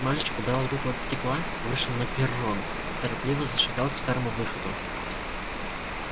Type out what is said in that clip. мальчик убрал руку от стекла вышел на перрон торопливо зашагал к старому выходу